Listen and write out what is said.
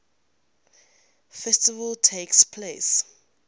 festival takes place